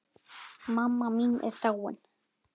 Mamma mín er dáin.